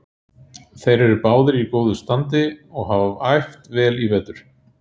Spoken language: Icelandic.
Þeir eru báðir í góðu standi og hafa æft vel í vetur.